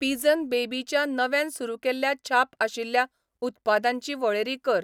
Pigeon baby च्या नव्यान सुरू केल्ल्या छाप आशिल्या उत्पादांची वळेरी कर.